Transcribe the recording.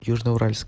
южноуральск